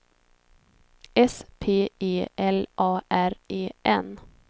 S P E L A R E N